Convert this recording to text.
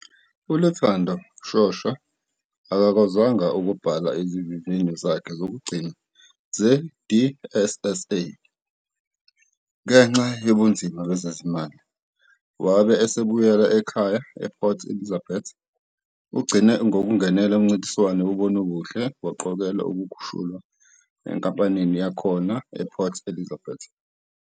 ULuthando Shosha akakwazanga ukubhala izivivinyo zakhe zokugcina ze-DSSA ngenxa yobunzima bezezimali, wabe esebuyela ekhaya ePort Elizabeth. Ugcine ngokungenela umncintiswano wonobuhle waqokelwa ukukhushulwa enkampanini yakhona ePort Elizabeth.